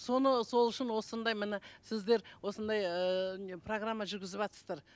соны сол үшін осындай міне сіздер осындай ыыы не программа жүргізіватсыздар